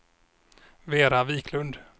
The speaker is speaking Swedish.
Vera Viklund